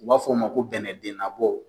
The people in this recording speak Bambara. U b'a fɔ o ma ko bɛnɛdennabɔ